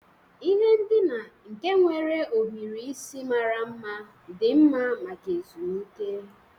Ihe ndina nke nwere ohiri isi mara mma dị mma maka ezumike.